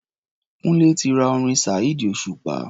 Kúńlé ti ra orin Saheed Osupa.